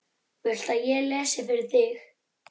Viltu að ég lesi fyrir þig?